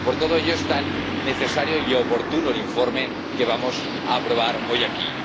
Por todo ello es tan necesario y oportuno el informe que vamos a aprobar hoy aquí.